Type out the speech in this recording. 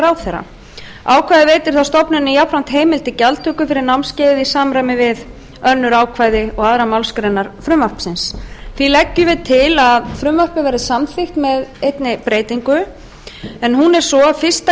ráðherra ákvæðið veitir þá stofnuninni jafnframt heimild til gjaldtöku fyrir námskeiðið í samræmi við önnur ákvæði og aðrar málsgreinar frumvarpsins því leggjum við til að frumvarpið verði samþykkt með einni breytingu en hún er svo fyrstu